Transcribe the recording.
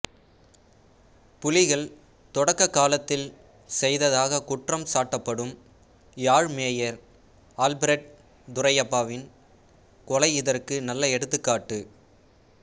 புலிகள் தொடக்க காலத்தில் செய்ததாக குற்றம் சாட்டப்படும் யாழ் மேயர் அல்பிரட் துரையப்பாவின் கொலை இதற்கு நல்ல எடுத்துக்காட்டு